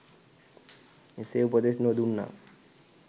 එසේ උපදෙස් නොදුන්නා